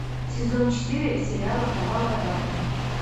сезон четыре сериала кровавая барыня